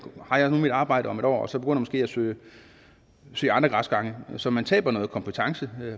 har jeg nu mit arbejde om et år og så begynder man måske at søge andre græsgange så man taber noget kompetence